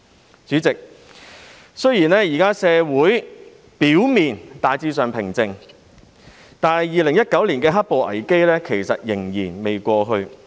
代理主席，雖然現時社會表面上大致平靜，但2019年的"黑暴"危機仍未過去。